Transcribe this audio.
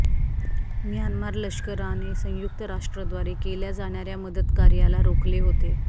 Myanmar लष्कराने संयुक्त राष्ट्राद्वारे केल्या जाणाऱया मदतकार्याला रोखले होते